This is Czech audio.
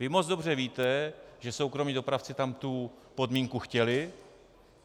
Vy moc dobře víte, že soukromí dopravci tam tu podmínku chtěli.